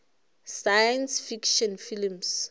science fiction films